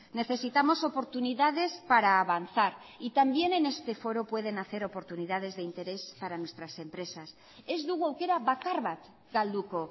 necesitamos oportunidades para avanzar y también en este foro pueden hacer oportunidades de interés para nuestras empresas ez dugu aukera bakar bat galduko